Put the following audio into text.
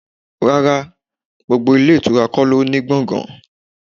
Rárá, gbogbo ilé ìtura kò ló ń ní gbọ̀ngan.